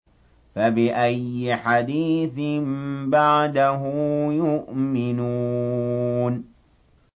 فَبِأَيِّ حَدِيثٍ بَعْدَهُ يُؤْمِنُونَ